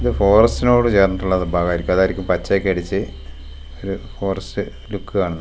ഇത് ഫോറസ്റ്റിനോടു ചേർന്നിട്ടുള്ള ഏതോ ഭാഗവാരിക്കും അതാരിക്കും പച്ചയൊക്കെ അടിച്ച് ഒരു ഫോറസ്റ്റ് ലുക്ക് കാണുന്നെ .